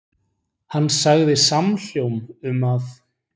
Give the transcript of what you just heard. Hann sagði samhljóm um að: